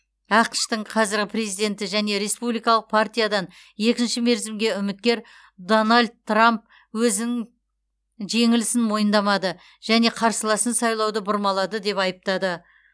ақш тың қазіргі президенті және республикалық партиядан екінші мерзімге үміткер дональд трамп өзінің жеңілісін мойындамады және қарсыласын сайлауды бұрмалады деп айыптады